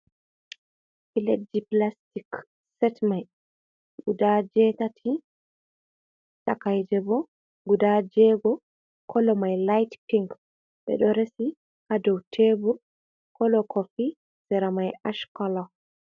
Pilet ji, blastic, set mai guda jetati, takaije bo guda jego, kalo mai laytpink be do resi ha dow tebur kolo kofi sera mai ashkola.